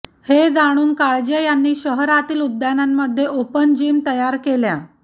हे जाणून काळजे यांनी शहरातील उद्यानांमध्ये ओपन जीम तयार केल्या